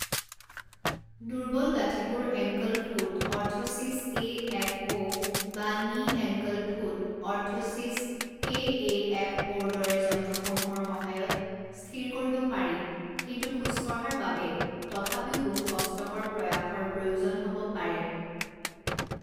দুৰ্বল গাঁঠিবোৰ ankle foot orthosis A F O বা knee ankle foot orthosis K A F অ'ৰ দৰে যন্ত্ৰসমূহৰ সহায়ত স্থিৰ কৰিব পাৰি কিন্তু খোজ কঢ়াৰ বাবে তথাপিও বহু কষ্টকৰ প্ৰয়াসৰ প্ৰয়োজন হ'ব পাৰে।